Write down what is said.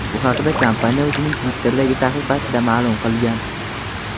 Bu haqda kompaniya o‘zining Twitter’dagi sahifasida ma’lum qilgan .